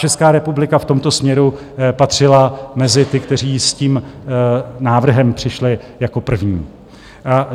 Česká republika v tomto směru patřila mezi ty, kteří s tím návrhem přišli jako první.